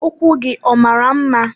Ụkwụ gị ọ mara mma?